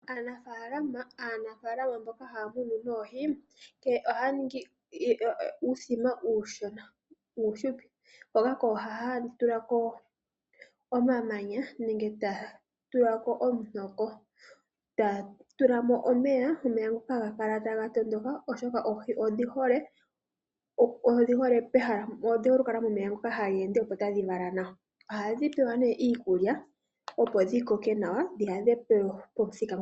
Aanafaalama mboka haya munu noohi ohaya ningi uuthima uushona wo uufupi hoka kooha haya tula ko omamanya nenge taya tula ko omutoko e taya tula mo omeya, ngoka haga kala taga tondoka, oshoka oohi odhi hole okukala momeya ngoka taga ende, opo tadhi vala nawa. Ohadhi pewa nduno iikulya, opo dhi koke nawa.